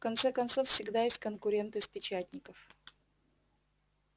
в конце концов всегда есть конкуренты с печатников